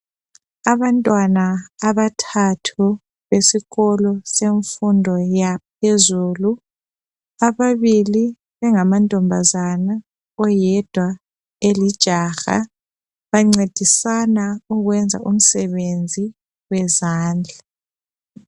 Abantwana abathathu esikolo semfundo yaphezulu ababili bengamantombazana oyedwa elijaha bancedisana ukwenza umsebenzi wezandla